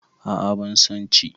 A'a ban son ci